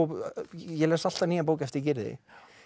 ég les alltaf nýja bók eftir Gyrði